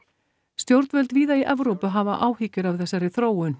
stjórnvöld víða í Evrópu hafa áhyggur af þessari þróun